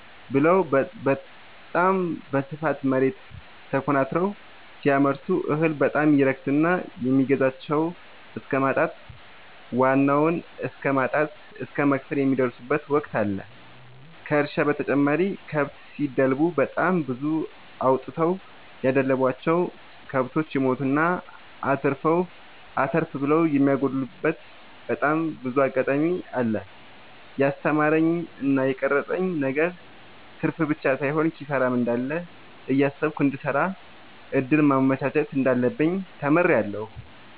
ብለው በታም በስፋት መሬት ተኮናትረው ሲያመርቱ እህል በጣም ይረክስና የሚገዛቸው እስከማጣት ዋናውን እስከማት እስከ መክሰር የሚደርሱበት ወቅት አለ ከእርሻ በተጨማሪ ከብት ሲደልቡ በጣም ብዙ አውጥተው ያደለቡቸው። ከብቶች ይሞቱና አተርፍ ብለው የሚያጎሉበቴ በጣም ብዙ አጋጣሚ አለ። የስተማረኝ እና የቀረፀብኝ ነገር ትርፍብቻ ሳይሆን ኪሳራም እንዳለ እያሰብኩ እንድሰራ ሌላ እድል ማመቻቸት እንዳለብኝ ተምሬበታለሁ።